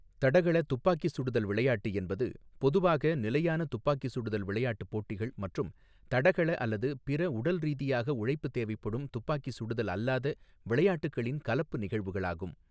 தடகள துப்பாக்கி சுடுதல் விளையாட்டு என்பது பொதுவாக நிலையான துப்பாக்கி சுடுதல் விளையாட்டு போட்டிகள் மற்றும் தடகள அல்லது பிற உடல் ரீதியாக உழைப்பு தேவைப்படும் துப்பாக்கி சுடுதல் அல்லாத விளையாட்டுகளின் கலப்பு நிகழ்வுகளாகும்.